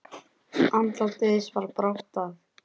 Andlát Eiðs bar brátt að.